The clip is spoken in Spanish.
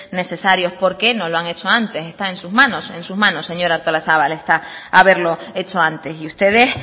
necesarios por qué no lo han hechos antes está en sus manos en sus manos señora artolazabal está haberlo hecho antes y ustedes